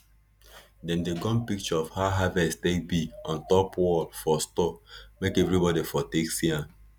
dem dey gum picture of how havest take be on top wall for store make everibodi for take see am